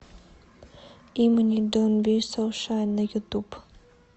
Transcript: имани донт би соу шай на ютуб